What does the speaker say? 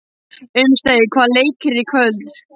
Unnsteinn, hvaða leikir eru í kvöld?